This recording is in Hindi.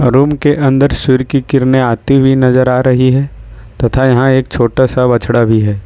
रूम के अंदर सूर्य की किरणें आती हुई नजर आ रही है तथा यहां एक छोटा सा बछड़ा भी है।